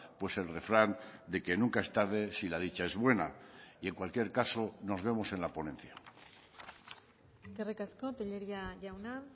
pues el refrán de que nunca es tarde si la dicha es buena y en cualquier caso nos vemos en la ponencia eskerrik asko tellería jauna